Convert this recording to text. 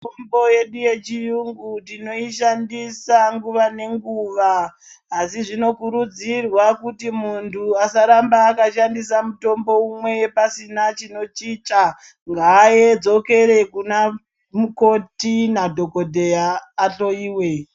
Mitombo yedu yechiyungu tinoishandisa nguwa nenguwa asi zvinokurudzirwa kuti muntu asaramba akashandisa mutombo umwe pasina chinochicha ngadzokere kuna mukoti nadhokodheya ahloiwe .